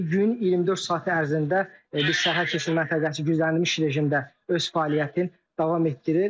Gün 24 saat ərzində bu sərhəd keçid məntəqəsi güzənlənmiş rejimdə öz fəaliyyətini davam etdirir.